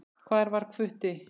Hvar var Hvutti?